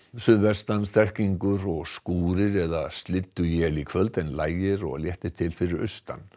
suðvestan strekkingur og skúrir eða slydduél í kvöld en lægir og léttir til fyrir austan